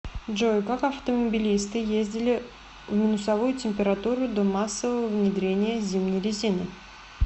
джой как автомобилисты ездили в минусовую температуру до массового внедрения зимней резины